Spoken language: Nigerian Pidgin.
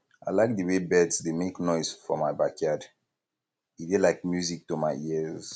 i like de way birds dey make noise for for my backyard e dey like music to my ears